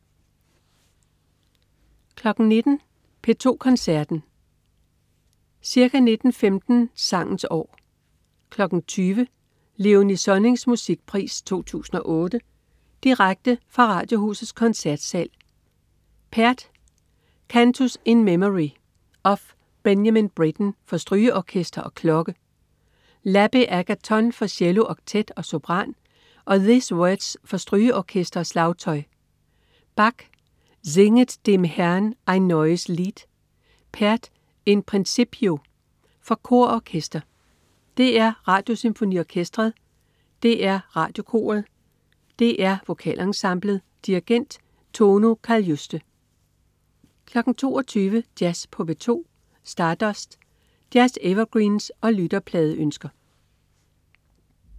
19.00 P2 Koncerten. Ca. 19.15 Sangens år. 20.00 Léonie Sonnings Musikpris 2008 direkte fra Radiohusets Koncertsal. Pärt: Cantus in Memory of Benjamin Britten for strygeorkester og klokke, L'Abbé Agathon for cellooktet og sopran og These Words for strygeorkester og slagtøj Bach: Singet dem Herrn ein neues Lied. Pärt: In principio. For kor og orkester. DR Radiosymfoniorkestret. DR Radiokoret. DR Vokalensemblet. Dirigent: Tonu Kaljuste 22.00 Jazz på P2. Stardust. Jazz-evergreens og lytterpladeønsker